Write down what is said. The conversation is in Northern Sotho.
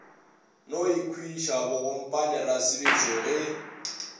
no ikhwiša bogompane rasebešo ge